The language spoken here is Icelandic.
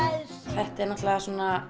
þetta er náttúrulega